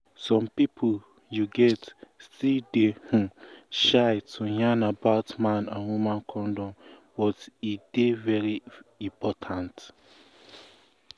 some pipu you get still dey um shy um to yarn about man and woman condom but but e um dey very important